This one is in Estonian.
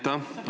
Aitäh!